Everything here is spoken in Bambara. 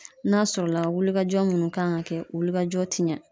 N'a sɔrɔla wuli ka jɔ munnu kan ka kɛ wuli ka jɔ te ɲɛ.